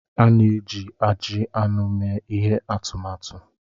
A na-eji ajị anụ mee ihe atụmatụ.